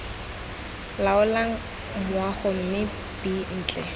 laolang moago mme b ntle